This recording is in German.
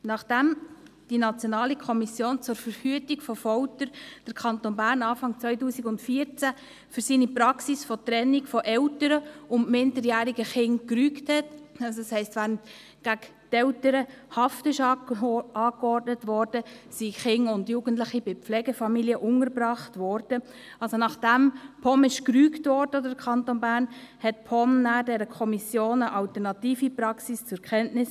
Nachdem die NKVF den Kanton Bern Anfang 2014 für seine Praxis der Trennung von Eltern und minderjährigen Kindern gerügt hatte – das heisst, während gegen Eltern Haft angeordnet wurde, wurden Kinder und Jugendliche bei Pflegefamilien untergebracht –, also nachdem die POM oder der Kanton Bern gerügt wurden, brachte die POM dieser Kommission eine alternative Praxis zur Kenntnis.